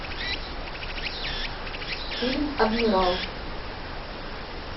фильм адмирал